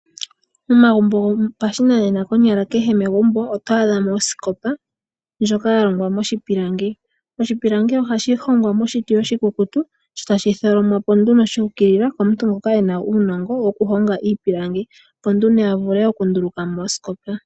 Momagumbo gopashinanena konyala kehe megumbo, oto adhamo osikopa, ndjoka yalongwa moshipilangi. Oshipilangi ohashi hongwa moshiti oshikukutu, sho tashi tholomwapo nduno shu ukilila, komuntu ngoka ena uunongo wokuhonga iipilangi, opo avule okundulukamo osikopa, ta landitha ye amone oshimaliwa.